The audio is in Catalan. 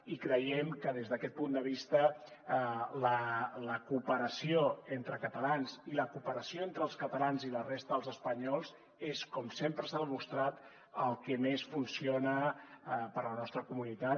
i creiem que des d’aquest punt de vista la cooperació entre catalans i la cooperació entre els catalans i la resta dels espanyols és com sempre s’ha demostrat el que més funciona per a la nostra comunitat